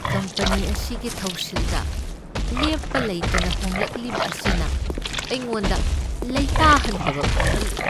Company ꯑꯁꯤꯒꯤ ꯊꯧꯁꯤꯜꯗ ꯂꯦꯞꯄ ꯂꯩꯇꯅ ꯍꯣꯡꯂꯛꯂꯤꯕ ꯑꯁꯤꯅ ꯑꯩꯉꯣꯟꯗ ꯂꯩꯇꯥꯍꯟꯗꯕ ꯐꯥꯎꯍꯜꯂꯤ ꯫